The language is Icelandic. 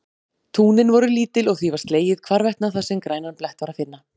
Túnin voru lítil og því var slegið hvarvetna þar sem grænan blett var að finna.